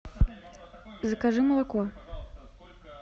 закажи молоко